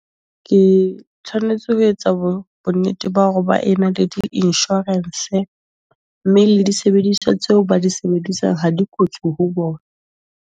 Ke tshwanetse ho etsa bo bonnete ba hore ba ena le di-insurance mme le disebediswa tseo ba di sebedisang ha di kotsi ho bona.